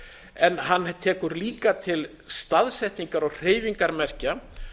en hann tekur líka til staðsetningar og hreyfingar merkja